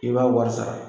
I b'a wari sara